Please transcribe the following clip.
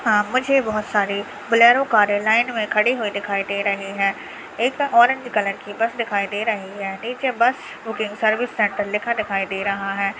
मुझे बहुत सारी बोलेरो कारें लाइन में खड़े हुए दिखाई दे रहे हैं एक ऑरेंज कलर की बस दिखाई दे रही है नीचे बस बुकिंग सर्विस सेंटर लिखा दिखाई दे रहा है।